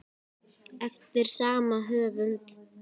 Eftir sama höfund